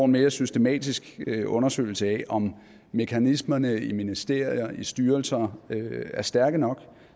mere systematisk undersøgelse af om mekanismerne i ministerier og styrelser er stærke nok